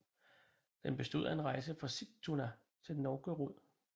Den bestod af en rejse fra Sigtuna til Novgorod